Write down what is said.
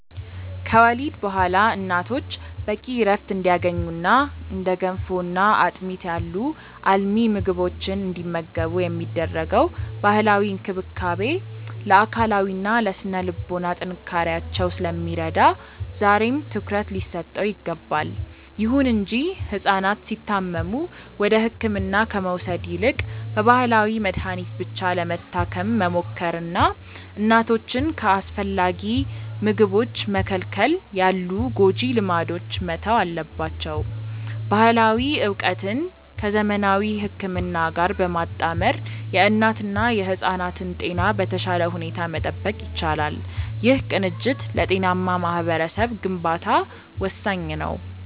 ከወሊድ በኋላ እናቶች በቂ ዕረፍት እንዲያገኙና እንደ ገንፎና አጥሚት ያሉ አልሚ ምግቦችን እንዲመገቡ የሚደረገው ባህላዊ እንክብካቤ ለአካላዊና ለሥነ-ልቦና ጥንካሬያቸው ስለሚረዳ ዛሬም ትኩረት ሊሰጠው ይገባል። ይሁን እንጂ ሕፃናት ሲታመሙ ወደ ሕክምና ከመውሰድ ይልቅ በባህላዊ መድኃኒት ብቻ ለመታከም መሞከርና እናቶችን ከአስፈላጊ ምግቦች መከልከል ያሉ ጎጂ ልማዶች መተው አለባቸው። ባህላዊ ዕውቀትን ከዘመናዊ ሕክምና ጋር በማጣመር የእናትና የሕፃናትን ጤና በተሻለ ሁኔታ መጠበቅ ይቻላል። ይህ ቅንጅት ለጤናማ ማኅበረሰብ ግንባታ ወሳኝ ነው።